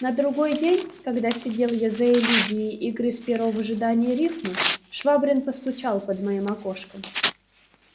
на другой день когда сидел я за элегией и грыз перо в ожидании рифмы швабрин постучал под моим окошком